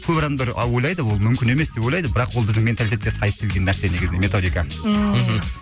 көп адамдар а ойлайды ол мүмкін емес деп ойлайды бірақ ол біздің менталитетке сай істелген нәрсе негізінде методика ммм мхм